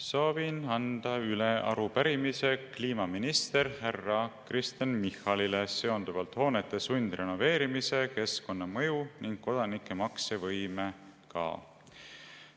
Soovin anda üle arupärimise kliimaminister härra Kristen Michalile seonduvalt hoonete sundrenoveerimise keskkonnamõju ning kodanike maksevõimega.